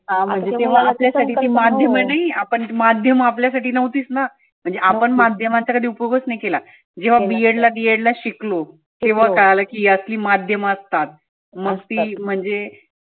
हा म्हणजे ते माध्यम आपल्यासाठी नव्हतीच ना. म्हणजे आपण माध्यमाचा कधी उपयोगच नाही केला. जेव्हा B. edD. edit ला शिकलो तेव्हा कळालं ही असली माध्यम असतात. मस्ती म्हणजे